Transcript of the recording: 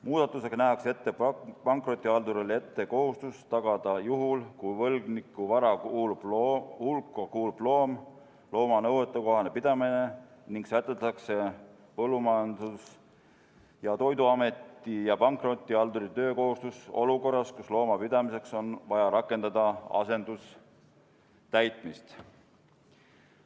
Muudatusega nähakse pankrotihaldurile ette kohustus tagada juhul, kui võlgniku vara hulka kuulub loom, looma nõuetekohane pidamine ning sätestatakse Põllumajandus- ja Toiduameti ja pankrotihalduri töökohustus olukorras, kus looma pidamiseks on vaja rakendada asendustäitmist.